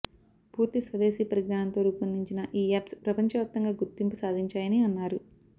పూర్తి స్వదేశీ పరిజ్ఙానంతో రూపొందించిన ఈ యాప్స్ ప్రపంచవ్యాప్తంగా గుర్తింపు సాధించాయని అన్నారు